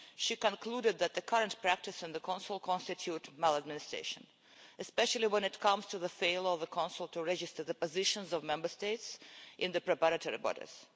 She concluded that the current practice in the Council constituted maladministration, especially when it comes to the failure of the Council to register the positions of Member States in the preparatory bodies.